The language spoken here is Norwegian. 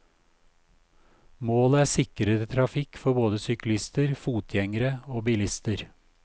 Målet er sikrere trafikk for både syklister, fotgjengere og bilister.